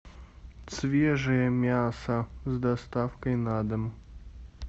свежее мясо с доставкой на дом